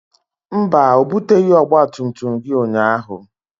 Mba, o buteghị ọgba tum tum gị ụnyaahụ